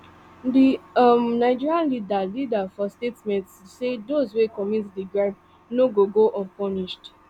di um nigerian leader leader for statement say dose wey commit di crime no gogo unpunished